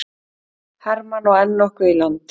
Hermann á enn nokkuð í land